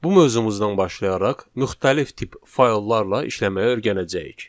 Bu mövzumuzdan başlayaraq müxtəlif tip fayllarla işləməyə öyrənəcəyik.